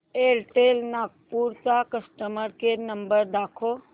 Airtel Nagpur चा customer care number दाखव